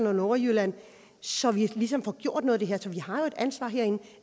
nordjylland så vi ligesom får gjort noget vi har jo et ansvar herinde